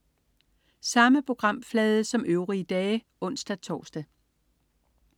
Samme programflade som øvrige dage (ons-tors)